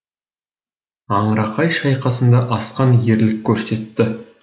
аңырақай шайқасында асқан ерлік көрсетті